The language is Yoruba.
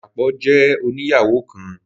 Dapọ jẹ òníyawo kán.